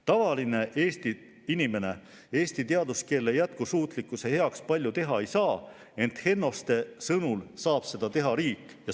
" Tavaline inimene eesti teaduskeele jätkusuutlikkuse heaks eriti palju teha ei saa, ent Hennoste sõnul saaks seda teha riik.